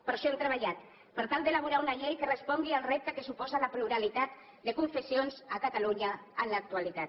per això hem treballat per tal d’elaborar una llei que respongui al repte que suposa la pluralitat de confessions a catalunya en l’actualitat